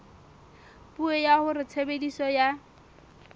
puo ya hore tshebediso ya